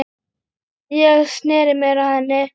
Ég sneri mér að henni.